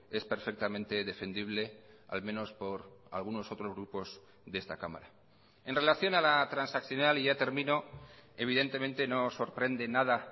es perfectamente defendible al menos por algunos otros grupos de esta cámara en relación a la transaccional y ya termino evidentemente no sorprende nada